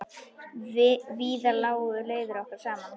Víðar lágu leiðir okkar saman.